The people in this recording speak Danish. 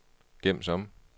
gem som